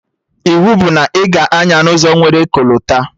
Iwu bụ na ị ga-anya n'ụzọ nwere kolta!